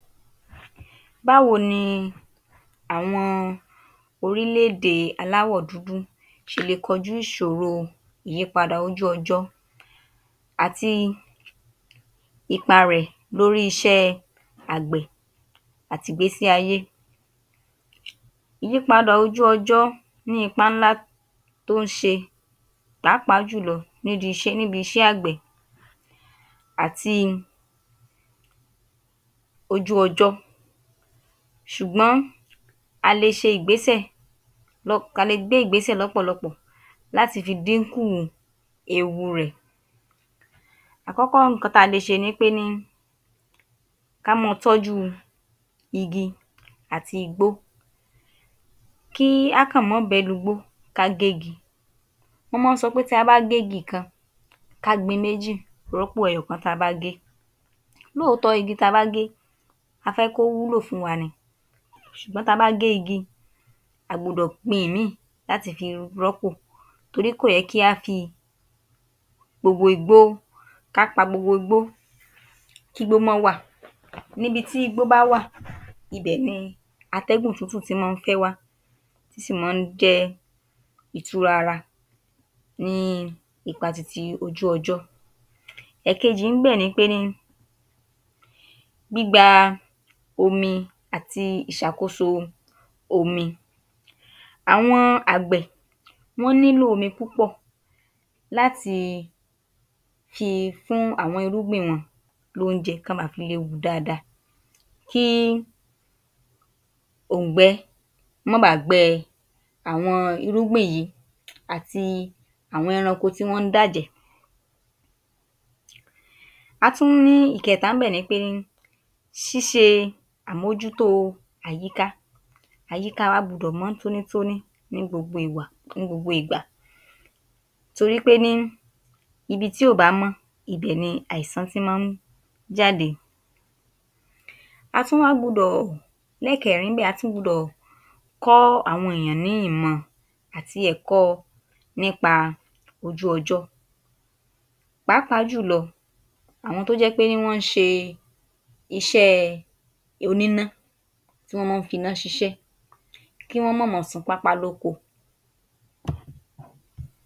Báwo ni àwọn orílẹ̀ èdè aláwọ̀ dúdú ṣe le kọjú ìṣoro ìyípadà ojú ọjọ́, àti ipa rẹ̀ lórí iṣẹ́ àgbẹ̀ àti ìgbésí ayé. Ìyípadà ojú ọjọ́ ní ipa ńlá tó ń ṣe pàápàá jùlọ níbi iṣẹ́ àgbẹ̀ àti ojú ọjọ́, ṣùgbọ́n a lè gbé ìgbésè lọpọlọpọ láti fi dín kù ewu rẹ̀. Àkọ́kọ́, nǹkan ta lè ṣe ni pé kí a máa tọ́jú igi ati igbó, kí a máa kàn bẹ́ lu igbó kí a ge igi. Wọ́n máa sọ pé tí a bá gé igi kan, ka gbìn méjì rọ́pò ẹyọ̀kan tí a bá gé. Lóòótọ́, igi tí a bá gẹ́, a fẹ́ kó wúlò fún wa ni ṣùgbọ́n tí a bá gé igi, a gbúdọ̀ gbin ìmíì láti fi rọ́pò torí kò yẹ kí a fi gbogbo igbó, ká pa gbogbo igbó, kí igbó ma wà, ibití igbó bá wà, ibẹ̀ ni atẹ́gùn tútù máa ń fẹ́ wá, ó sì máa jẹ́ ìtura ara ní ipa ti ojú ọjọ́. Ẹ̀ẹ́kejì ní bẹ̀ ni, gbígba omi àti ìṣàkóso omi. Àwọn àgbè nílò omi púpọ̀ láti fi fún àwọn irúgbìn wọn l’oúnjẹ kó ba fi lè wù ú dáadáa. Kí òùngbẹ máa bá a gbẹ àwọn irúgbìn yìí àti àwọn ẹranko tí wọn dàjẹ̀. A tún ní ìkẹta níbẹ̀ ni ṣíṣe àmójútó àyíká, àyíká wa gbúdọ̀ mọ́ tónítóní ní gbogbo ìgbà torí pé níbi tí ó bá mọ́, ibè ni àìsàn ti máa ń jáde. A tún wá gbúdọ̀ lé kẹrin níbẹ̀, a tún gbúdọ̀ kọ́ àwọn ènìyàn ní ìmọ̀ àti ẹ̀kọ́ nípa ojú ọjọ́ pàápàá jùlọ àwọn tó jẹ́ pé wọn ṣe iṣẹ́ oníná tí wọ́n fi iná ṣíṣe, kí wọ́n ma máa sún pápá lóko